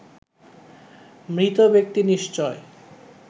মৃত ব্যক্তি নিশ্চয়